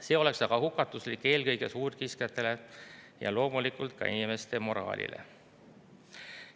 See oleks hukatuslik eelkõige suurkiskjatele ja loomulikult ka inimeste moraalile.